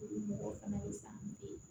O ye mɔgɔ fana ye sa don ye